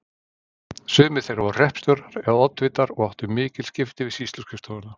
Sumir þeirra voru hreppstjórar eða oddvitar og áttu mikil skipti við sýsluskrifstofuna.